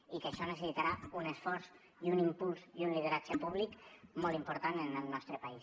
i que això necessitarà un esforç i un impuls i un lideratge públic molt important en el nostre país